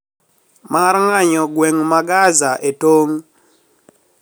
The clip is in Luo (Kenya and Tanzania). Mar ng`anyo gweng` ma Gaza e tong`